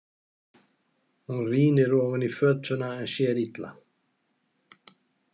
Hún rýnir ofan í fötuna en sér illa.